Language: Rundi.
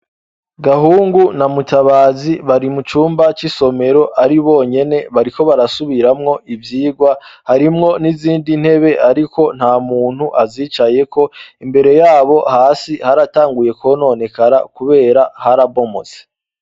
Gahungu na Mutabazi bari mu cumba c'isomero ari bonyene, bariko barasubiramwo ivyigwa, harimwo n'izindi ntebe ariko nta muntu azicayeko, imbere yabo hasi haratanguye kwononekara kubera harabomotse.